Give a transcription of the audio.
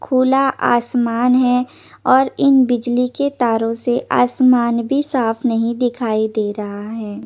खुला आसमान हे और इन बिजली के तारो से आसमान भी साफ नही दिखाई दे रहा हे।